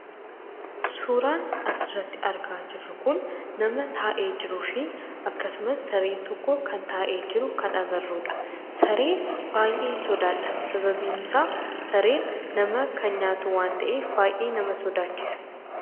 Suuraan asirratti argaa jirru kun nama taa'ee jiruu fi akkasumas sareen tokko kan taa'ee jiru kan agarrudha. Saree baay'een sodaadha. Sababiin isaa kan nama nyaatu waan ta'eef baay'ee nama sodaachisa.